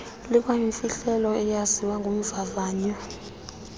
likwayimfihlelo eyaziwa ngumvavanywa